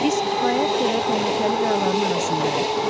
Biz kifayət qədər təhlükəli qayaların arasındayıq.